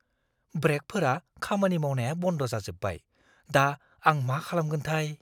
ब्रेकफोरा खामानि मावनाया बन्द जाजोबबाय। दा, आं मा खालामगोनथाय?